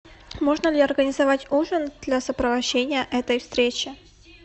можно ли организовать ужин для сопровождения этой встречи